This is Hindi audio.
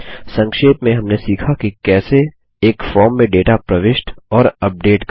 संक्षेप में हमने सीखा कि कैसे एक फॉर्म में डेटा प्रविष्ट और अपडेट करें